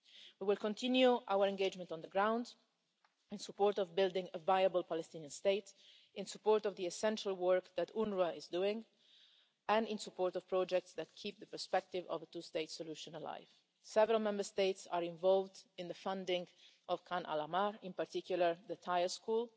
We will continue our engagement on the ground in support of building a viable Palestinian state, in support of the essential work that UNRWA is doing, and in support of projects that keep the perspective of a two state solution alive. Several Member States are involved in the funding of Khan al Ahmar, in particular, the tyre school.